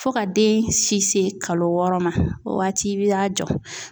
Fo ka den si se kalo wɔɔrɔ ma o waati i bi y'a jɔ.